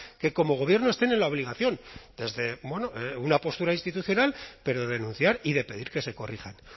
que como gobierno estén en la obligación desde una postura institucional pero denunciar y de pedir que se corrijan